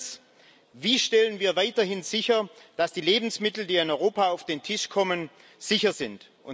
Erstens Wie stellen wir weiterhin sicher, dass die Lebensmittel, die in Europa auf den Tisch kommen, sicher sind?